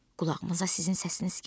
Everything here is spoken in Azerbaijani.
Qulağıma sizin səsiniz gəldi.